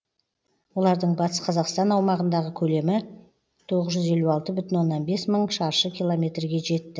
олардың батыс қазақстан аумағындағы көлемі тоғыз жүз елу алты бүтін оннан бес мың шаршы километрге жетті